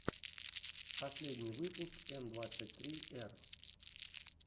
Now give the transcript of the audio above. последний выпуск н двадцать три р